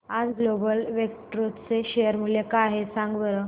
आज global Vectra चे share मूल्य काय आहे सांगा बरं